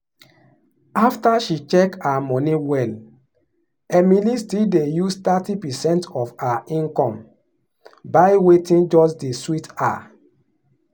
after she check her money well emily still dey use thirty percent of her income buy wetin just dey um sweet her.